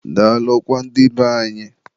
daalụkwa ndị be anyị.